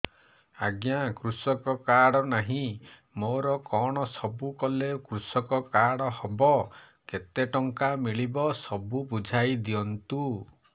ଆଜ୍ଞା କୃଷକ କାର୍ଡ ନାହିଁ ମୋର କଣ ସବୁ କଲେ କୃଷକ କାର୍ଡ ହବ କେତେ ଟଙ୍କା ମିଳିବ ସବୁ ବୁଝାଇଦିଅନ୍ତୁ